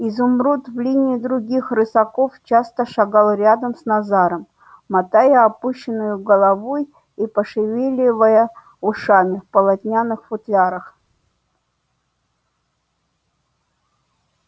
изумруд в линии других рысаков часто шагал рядом с назаром мотая опущенною головой и пошевеливая ушами в полотняных футлярах